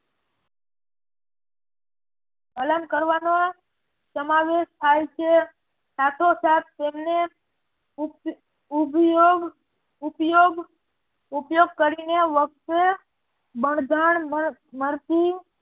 અલગ કરવાનો સમાવેશ થાય છે સાથો સાથ તેમને ઉપયોગ કરીને